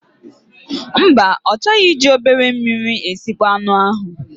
Mba, ọ chọghị iji obere mmiri esịkpo anụ ahụ.